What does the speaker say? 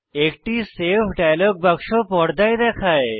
একটি save dialogue বাক্স পর্দায় দেখায়